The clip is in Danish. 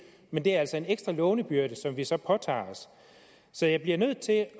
men det er altså en ekstra lånebyrde som vi så påtager os så jeg bliver nødt til at